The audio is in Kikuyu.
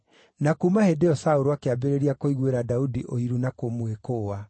Na kuuma hĩndĩ ĩyo Saũlũ akĩambĩrĩria kũiguĩra Daudi ũiru na kũmwĩkũũa.